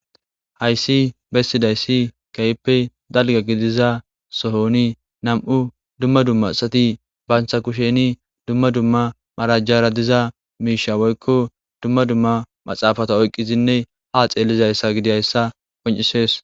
hayssi bessidayssi kayppe dalga gidiza sohoni nam7u dumma dumma asati banta kusheni dumma dumma marajjara diza miisha woykko dumma dumma maxaafata oyqqizinne haa xeelizayssa gidiayssa qoncisees